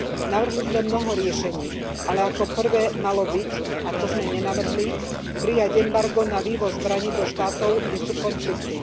Navrhli sme mnoho riešení, ale ako prvé malo byť, a to sme nenavrhli, prijať embargo na vývoz zbraní do štátov, kde sú konflikty.